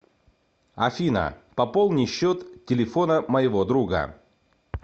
афина пополни счет телефона моего друга